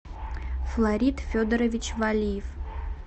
флорид федорович валиев